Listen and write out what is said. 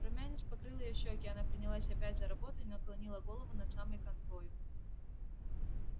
румянец покрыл её щеки она принялась опять за работу и наклонила голову над самой канвою